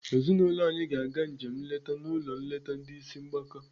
Ezinaụlọ anyị ga-aga njem nleta n'ụlọ nleta ndị ịsị mgbaka.